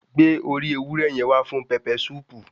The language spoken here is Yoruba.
Gbé orí ewúrẹ́ yẹn wá fún pẹpẹ súùpù.